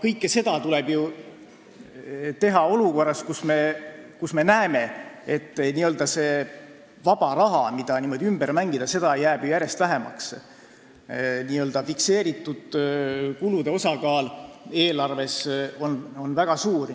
Kõike seda tuleb ju teha olukorras, kus vaba raha, mida saab ümber mängida, jääb järjest vähemaks, sest n-ö fikseeritud kulude osakaal eelarves on väga suur.